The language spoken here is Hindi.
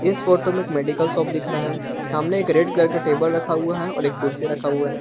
इस फोटो में एक मेडिकल शॉप दिख रहा है सामने एक रेड कलर का टेबल रखा हुआ है और एक कुर्सी रखा हुआ है।